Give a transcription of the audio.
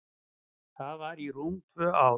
Það var í rúm tvö ár.